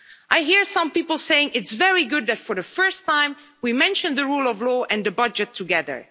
I hear some people saying it's very good that for the first time we mention the rule of law and the budget together.